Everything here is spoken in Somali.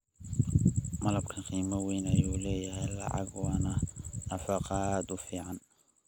Malabka qiimo weyn ayuu u leeyahay lacag waana nafaqo aad u fiican.